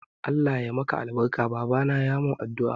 Allah ya yi maka albarka, babana ya mun addu'a.